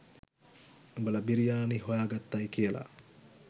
උඹල බිරියානි හොයාගත්තයි කියල.